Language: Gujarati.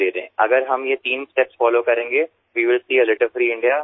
જો આપણે આ ત્રણ પગલાંને અનુસરીશું તો આપણે ગંદકીમુક્ત ભારત જોઈશું